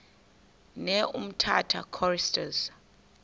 ne umtata choristers